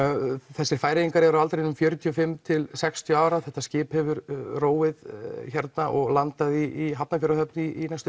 þessir Færeyingar eru á aldrinum fjörutíu og fimm til sextíu ára þetta skip hefur róið hérna og landað í Hafnarfjarðarhöfn í næstum